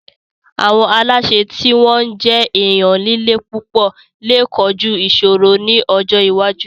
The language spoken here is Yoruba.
Àwọn aláṣẹ tí wọ́n jẹ́ èèyàn líle púpọ̀ lè kojú ìṣòro ní ọjọ́ iwájú